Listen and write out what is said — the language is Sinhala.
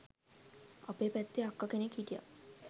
අපේ පැත්තෙ අක්ක කෙනෙක් හිටිය